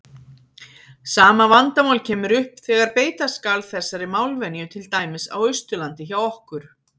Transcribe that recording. Sama vandamál kemur upp þegar beita skal þessari málvenju til dæmis á Austurlandi hjá okkur.